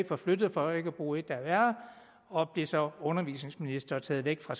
forflyttet for ikke at bruge et der er værre og blev så undervisningsminister og taget væk fra